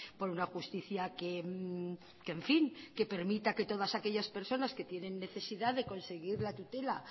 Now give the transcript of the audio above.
por una justicia que en fin permita que todas aquellas personas que tienen necesidad de conseguir la tutela